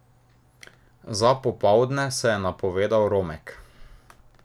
Za popoldne se je napovedal Romek.